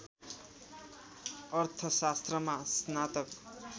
अर्थशास्त्रमा स्नातक